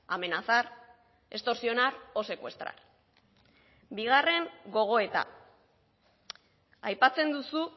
amenazar extorsionar o secuestrar bigarren gogoeta aipatzen duzu